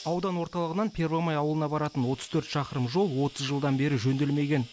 аудан орталығынан первомай ауылына баратын отыз төрт шақырым жол отыз жылдан бері жөнделмеген